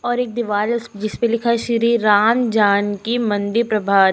और एक दीवाल है उस जिस पे लिखा है श्री राम जानकी मंदिर प्रभा।